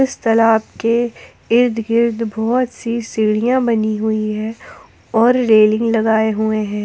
इस तलाब के इर्द गिर्द बहुत सी सीढ़ियां बनी हुई है और रेलिंग लगाए हुए हैं ।